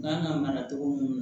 Kan ka mara cogo mun